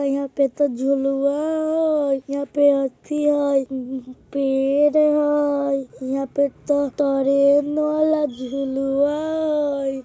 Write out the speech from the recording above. यहां पे तो झुलवा हय यहां पे आथी हय उम्म पेड़ हय यहां पे ते ट्रेन वाला झुलवा हय।